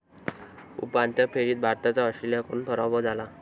उपांत्य फेरीत भारताचा ऑस्ट्रेलियाकडून पराभव झाला.